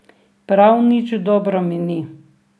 Prav nič dobro mi ni.